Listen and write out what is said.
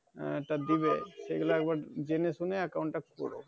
আহ তা দিবে সেগুলো একবা জেনে শুনে account টা কর।